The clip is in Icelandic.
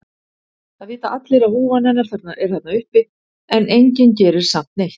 Það vita allir að húfan hennar er þarna uppi en enginn gerir samt neitt.